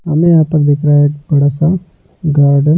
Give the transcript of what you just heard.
हमें यहां पर दिख रहा है एक बड़ा सा गार्डन --